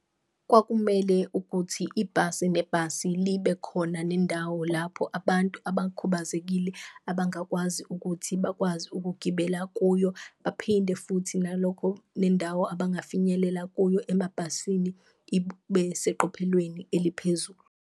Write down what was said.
Kwakumele ukuthi ibhasi nebhasi libe khona nendawo lapho abantu abakhubazekile abangakwazi ukuthi bakwazi ukugibela kuyo, baphinde futhi nalokho nendawo abangafinyelela kuyo emabhasini ibe seqophelweni eliphezulu.